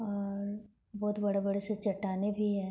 और बहुत बड़े-बड़े से चट्टानें भी है।